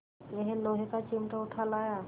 यह लोहे का चिमटा उठा लाया